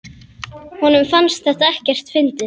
Honum fannst þetta ekkert fyndið.